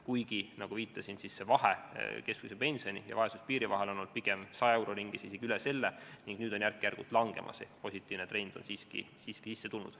Kuigi, nagu viitasin, vahe keskmise pensioni ja vaesuspiiri vahel on olnud pigem 100 euro ringis, isegi üle selle, ning nüüd on järk-järgult langemas ehk positiivne trend on siiski sisse tulnud.